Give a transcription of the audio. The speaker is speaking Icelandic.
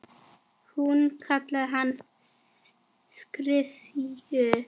Hún kallaði hann klisju.